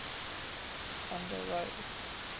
van der rohe